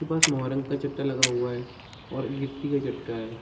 के पास मोहरंग का चट्टा लगा हुआ है और गिठी का चट्टा है।